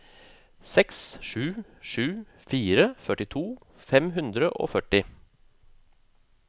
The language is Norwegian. seks sju sju fire førtito fem hundre og førti